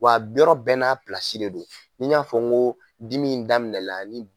Wa yɔrɔ bɛɛ na pilasi de don, n y'a fɔ n ko dimi in daminɛna ni.